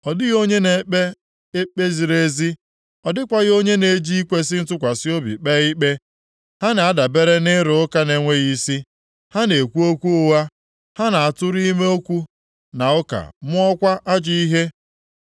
Ọ dịghị onye na-ekpe ikpe ziri ezi, ọ dịkwaghị onye na-eji ikwesi ntụkwasị obi kpee ikpe. Ha na-adabere nʼịrụ ụka nʼenweghị isi, ha na-ekwu okwu ụgha, ha na-atụrụ ime okwu na ụka mụọkwa ajọ ihe.